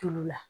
Tulu la